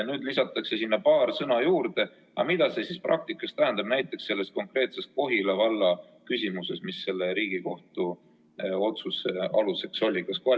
Nüüd lisatakse sinna paar sõna juurde, aga mida see praktikas tähendab näiteks selles Kohila valla küsimuses, mis selle Riigikohtu otsuse aluseks oli?